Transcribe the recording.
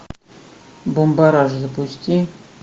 бумбараш запусти